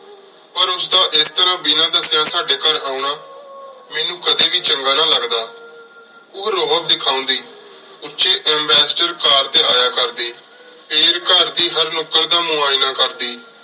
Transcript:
ਪਰ ਉਸਦਾ ਏਸ ਤਰ੍ਹਾ ਬਿਨਾ ਦਾਸ੍ਸ੍ਯਾ ਸਾਡੀ ਘਰ ਆਓਣਾ ਮੇਨੂ ਕਦੀ ਵੀ ਚੰਗਾ ਨਾ ਲਗਦਾ ਓਹ ਰੋਅਬ ਦਿਖਾਂਦੀ ਉਚੀ ਅਮਬਸਟਰ ਕਾਰ ਟੀ ਯਾ ਕਰਦੀ ਫੇਰ ਘਰ ਦੀ ਹਰ ਨੁੱਕਰ ਦਾ ਮੁਆਯਨਾ ਕਰਦੀ